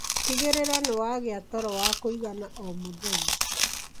Tigĩrĩra nĩwagia toro wa kũigana o mũthenya.